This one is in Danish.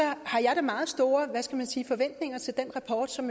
har jeg da meget store forventninger til den rapport som